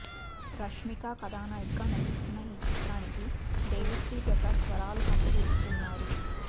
రష్మిక కథానాయికగా నటిస్తున్న ఈ చిత్రానికి దేవిశ్రీ ప్రసాద్ స్వరాలు సమకూరుస్తున్నారు